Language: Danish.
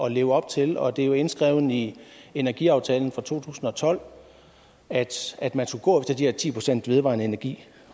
at leve op til og det er indskrevet i energiaftalen fra to tusind og tolv at at man skulle gå efter de her ti procent vedvarende energi